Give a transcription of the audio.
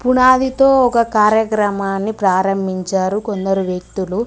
పునాదితో ఒక కార్యక్రమాన్ని ప్రారంభించారు కొందరు వ్యక్తులు.